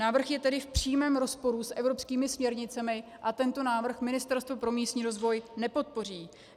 Návrh je tedy v přímém rozporu s evropskými směrnicemi a tento návrh Ministerstvo pro místní rozvoj nepodpoří.